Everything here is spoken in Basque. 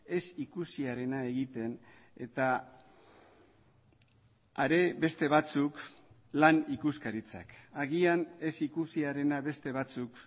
ezikusiarena egiten eta are beste batzuk lan ikuskaritzak agian ezikusiarena beste batzuk